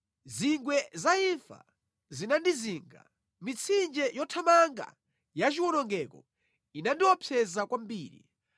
Zingwe za imfa zinandizinga; mitsinje yothamanga yachiwonongeko inandiopsa kwambiri.